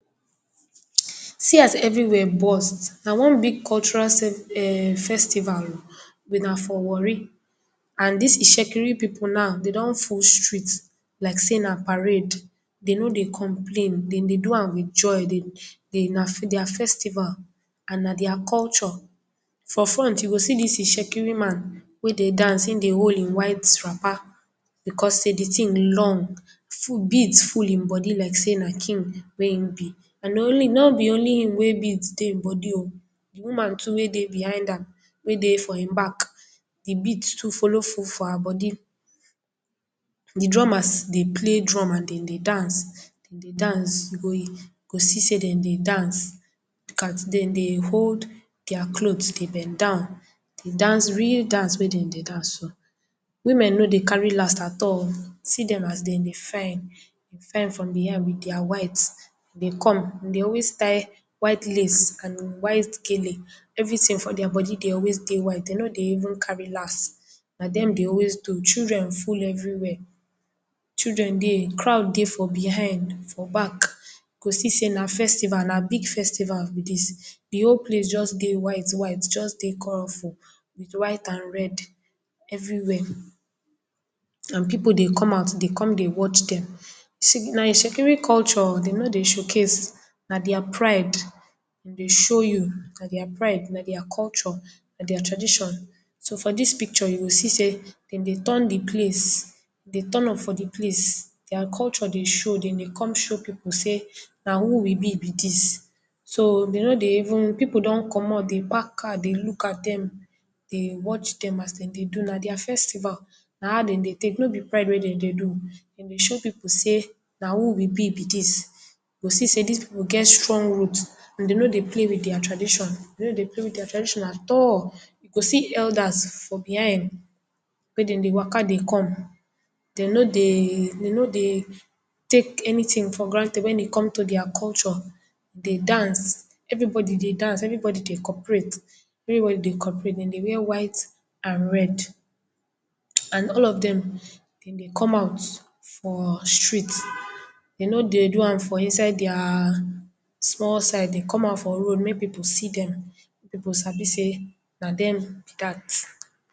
See as everywhere burst, na one big cultural sen um festival o but na for warri and dis itsekiri pipu now den don full street like sey na parade. Den no dey complain, den dey do am wit joy, dey, dey, na dia festival and na dia culture. For front you go see dis itsekiri man wey dey dance, e dey hol e white wrapper because sey di tin long, full, bead full im body like sey na king na e be, and na only, no be only im wey bead dey e body o, di woman too wey dey behind am, wey dey for e back, di bead too follow full for her body. Di drummers dey play drum and den dey dance, den dey dance, you go, you go see sey den dey dance, look at, den dey hold dia clot dey bend down, dey dance real dance wey den dey dance so. Women no dey carry last at all, see dem as den dey fine, fine from di head wit dia white dey come, den dey always tie white lace and white gele, everytin for dia body dey always dey white, den no dey even carry last. Na dem dey always do, children full everywhere, children dey, crowd dey for behind, for back, you go see sey na festival, na big festival be dis, di whole place just dey white white, just dey colorful wit white and red everywhere and pipu dey come out dey kom dey watch dem. Na itsekiri culture, den no dey show case, na dia pride, den dey show you, na dia pride, na dia culture, na dia tradition. So, for dis picture, you go see sey, den dey turn di place, den dey turn up for di place, dia culture dey show, dem dey kom show pipu sey na who we be be dis, so, den no dey even, pipu don comot, dey park car dey look at dem, dey watch dem as den dey do, na dia festival, na how den dey tek, no be pride wey den dey do, den dey show pipu sey na who we be be dis, you go see sey dis pipu get strong root and den no dey play wit dia tradition, den no dey play wit dia traditioin at all. You go see elders for behind mey den dey waka dey come, den no dey, den no dey take anytin for granted wen e come to dia culture, den dance, everybody dey dance, everybody dey cooperate, everybody dey cooperate, den dey wear white and red and all of dem, den dey come out for street, den no dey do am for inside dia small side, den come out for road mey pipu see dem, mey pipu sabi sey na dem be dat.